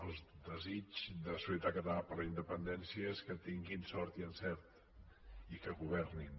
el desig de solidaritat catalana per la independència és que tinguin sort i encert i que governin